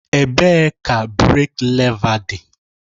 Ebee ka breek lèva dị.